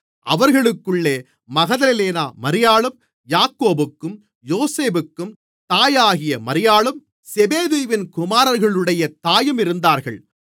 அவர்களுக்குள்ளே மகதலேனா மரியாளும் யாக்கோபுக்கும் யோசேப்புக்கும் தாயாகிய மரியாளும் செபெதேயுவின் குமாரர்களுடைய தாயும் இருந்தார்கள்